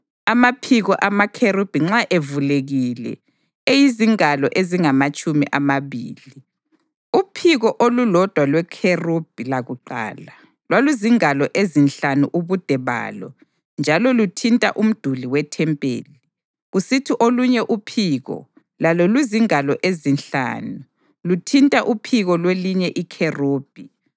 Amaphiko amakherubhi nxa evulekile eyizingalo ezingamatshumi amabili. Uphiko olulodwa lwekherubhi lakuqala lwaluzingalo ezinhlanu ubude balo njalo luthinta umduli wethempeli, kusithi olunye uphiko, lalo luzingalo ezinhlanu, luthinta uphiko lwelinye ikherubhi.